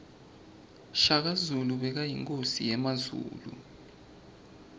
shaka zulu bekayinkosi yemazulu